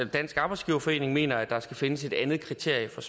dansk arbejdsgiverforening mener at der skal findes et andet kriterie for